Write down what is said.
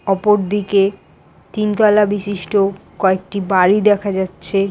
অপর দিকে তিনতলা বিশিষ্ট কয়েকটি বাড়ি দেখা যাচ্ছে ।